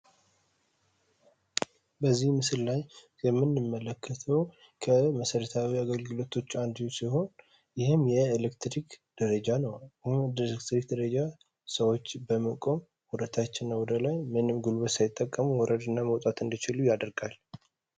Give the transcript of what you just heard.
በዚህ ምስል ላይ የምንመለከተው ከመሰረታዊ አገልግሎቶች ውስጥ አንዱ ሲሆን ይህም የኤሌክትሪክ ደረጃ ነው። የኤሌክትሪክ ደረጃ ስዎች በመቆም ወደታች እና ወደላይ ምንም ጉልበት ሳይጠቀሙ መውረድ እና መውጣት እንዲችሉ ያደርጋል።